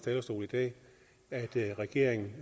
at regeringen